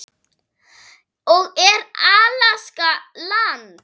og Er Alaska land?